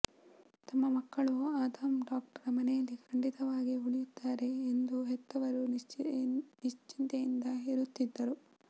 ತಮ್ಮ ಮಕ್ಕಳು ಆದಮ್ ಡಾಕ್ಟರ ಮನೆಯಲ್ಲಿ ಖಂಡಿತವಾಗಿ ಉಳಿಯುತ್ತಾರೆ ಎಂದು ಹೆತ್ತವರು ನಿಶ್ಚಿಂತೆಯಿಂದ ಇರುತ್ತಿದ್ದರು